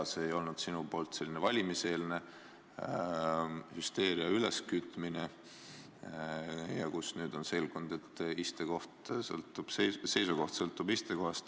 Ega see ei olnud sul valimiseelne hüsteeria üleskütmine ja nüüd on selgunud, et seisukoht sõltub istekohast?